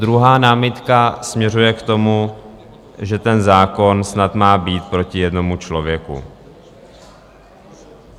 Druhá námitka směřuje k tomu, že ten zákon snad má být proti jednomu člověku.